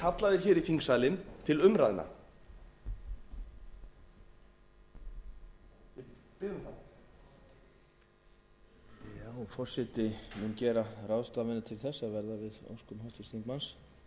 kallaðir hér í þingsalinn til umræðna ég bið um það forseti mun gera ráðstafanir til þess að verða við óskum háttvirts þingmanns ég þakka fyrir það